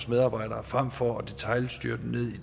medarbejdere frem for at detailstyre dem